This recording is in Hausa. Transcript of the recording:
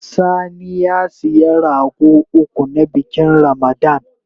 Sani ya siya rago uku, na bikin Ramada